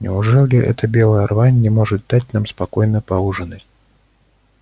неужели эта белая рвань не может дать нам спокойно поужинать